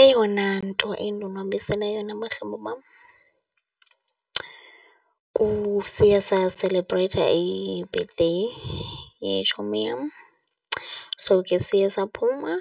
Eyona nto endonwabisileyo nabahlobo bam siye saselebhreyitha i-birthday yetshomi yam. So, ke siye saphuma